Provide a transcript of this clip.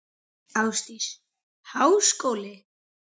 Ásdís: Háskóli?